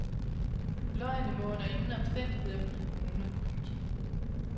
Løgene må under ingen omstændigheder blive brune. punktum